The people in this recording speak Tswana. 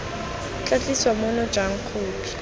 tla tliswa mono jang khopi